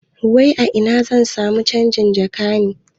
Wai a ina zan samu canjin jaka ne?